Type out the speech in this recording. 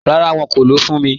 Ràrá, wọn kò lọ́ fún mí.